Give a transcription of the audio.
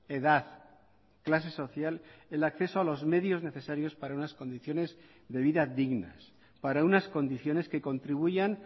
edad clase social el acceso a los medios necesarios para unas condiciones de vida dignas para unas condiciones que contribuyan